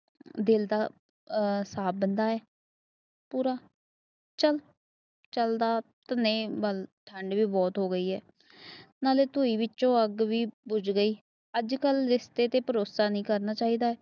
ਦਿਲ ਦਾ ਸਾਫ ਬੰਦਾ ਐ ਪੂਰਾ ਚੱਲ ਚਲਦਾ ਧੰਨੇ ਵੱਲ ਨਾਲੇ ਧੂਇ ਵਿੱਚੋਂ ਅੱਗ ਵੀ ਬੁਝ ਗਈ ਜੇ ਕਲ ਰਿਸ਼ਤੇ ਤੇ ਭਰੋਸਾ ਨੀ ਕਰਨਾ ਚਾਹੀਦਾ